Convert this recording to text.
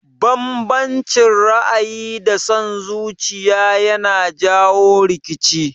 Banbancin ra'ayi da son zuciya yana jawo rikici